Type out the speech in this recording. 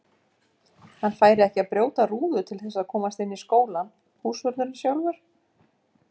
Hann færi ekki að brjóta rúðu til þess að komast inn í skólann, húsvörðurinn sjálfur!